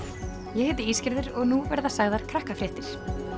ég heiti og nú verða sagðar Krakkafréttir